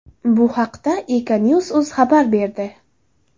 Bu haqda Econews.uz xabar berdi .